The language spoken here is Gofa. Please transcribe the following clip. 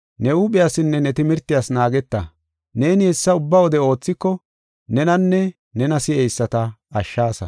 Ne huuphiyasinne ne timirtiyas naageta. Neeni hessa ubba wode oothiko nenanne nena si7eyisata ashshaasa.